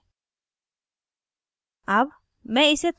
अतः नीचे जाते हैं